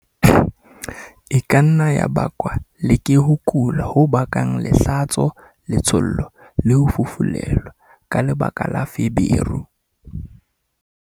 E ka nna ya bakwa le ke ho kula ho bakang lehlatso-letshollo, le ho fufulelwa ka lebaka la feberu.